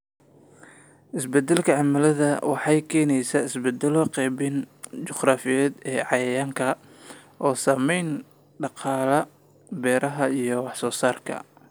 Isbeddelka cimiladu waxay keenaysaa isbeddelo qaybinta juqraafiyeed ee cayayaanka, oo saameeya dhaqamada beeraha iyo wax-soo-saarka.